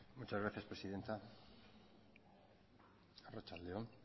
muchas gracias presidenta arratsalde on